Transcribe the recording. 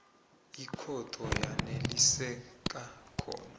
ikhotho yaneliseka khona